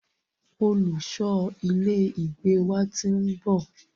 Olùṣọ ilé ìgbé wa ti ń bọ̀.